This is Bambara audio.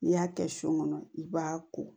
N'i y'a kɛ kɔnɔ i b'a ko